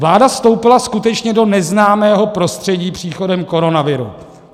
Vláda vstoupila skutečně do neznámého prostředí příchodem koronaviru.